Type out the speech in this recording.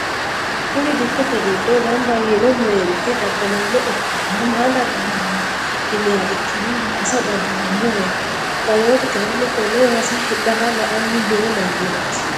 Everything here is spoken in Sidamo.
Kuri dikkote giddo gamba yiinno meenti daddalaano ikkanna ma dadda'lanno yiniha ikkiro waasa dadda'lannoret gamotu kayinni konne waasa hidhara la"anni noo mannati